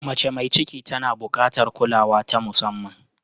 Mace mai ciki tana buƙatar kulawa ta musamman.